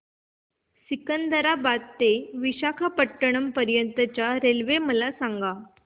सिकंदराबाद ते विशाखापट्टणम पर्यंत च्या रेल्वे मला सांगा